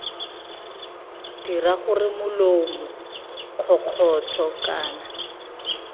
dira gore molomo kgokgotsho kana